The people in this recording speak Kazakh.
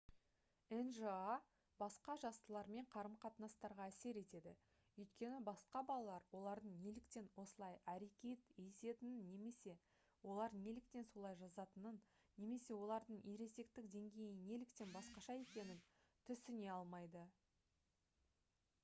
нжа басқа жастылармен қарым-қатынастарға әсер етеді өйткені басқа балалар олардың неліктен осылай әрекет ететінін немесе олар неліктен солай жазатынын немесе олардың ересектік деңгейі неліктен басқаша екенін түсіне алмайды